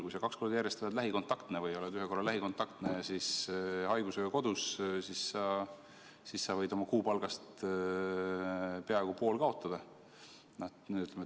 Kui sa kaks korda järjest oled lähikontaktne või oled ühe korra lähikontaktne ja siis haigusega kodus, siis sa võid oma kuupalgast peaaegu poole kaotada.